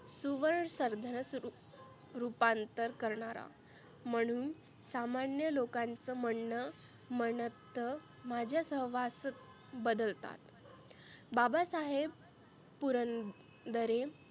सुवर्ण सरधर रुपांतर करणारा. म्हणुन सामान्य लोकांच म्हणनं म्हणत माझ्या सहवास बदलतात. बाबासाहेब पुरंदरे